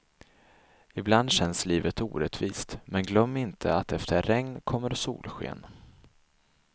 Ibland känns livet orättvist, men glöm inte att efter regn kommer solsken.